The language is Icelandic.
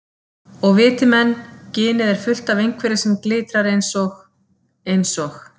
Og viti menn, ginið er fullt af einhverju sem glitrar eins og. eins og